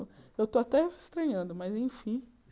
Eu estou até estranhando, mas enfim.